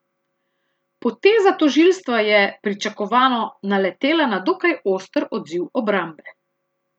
Poteza tožilstva je, pričakovano, naletela na dokaj oster odziv obrambe.